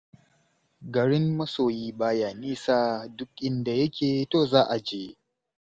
Garin masoyi ba ya nisa, duk inda yake to za' a je.